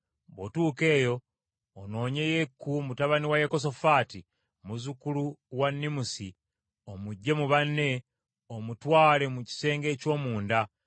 Bw’otuuka eyo, onoonye Yeeku mutabani wa Yekosafaati, muzzukulu wa Nimusi, omuggye mu banne, omutwale mu kisenge eky’omunda.